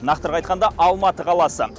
нақтырақ айтқанда алматы қаласы